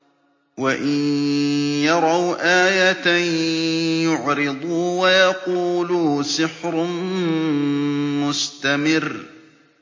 وَإِن يَرَوْا آيَةً يُعْرِضُوا وَيَقُولُوا سِحْرٌ مُّسْتَمِرٌّ